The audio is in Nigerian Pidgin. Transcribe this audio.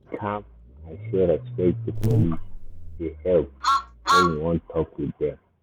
to dey calm and show respect to police dey help when you wan talk with dem.